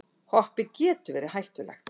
Hoppið getur verið hættulegt